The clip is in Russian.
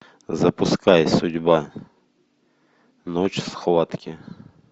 запускай судьба ночь схватки